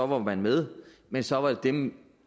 var man med men så var det dem